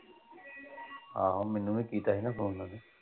ਆਹੋ ਮੈਨੂੰ ਵੀ ਕੀਤਾ ਸੀਗਾ ਫ਼ੋਨ।